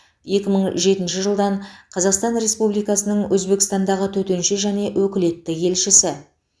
екі мың жетінші жылдан қазақстан республикасының өзбекстандағы төтенше және өкілетті елшісі